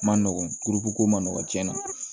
Ma nɔgɔn kuruko ma nɔgɔ tiɲɛna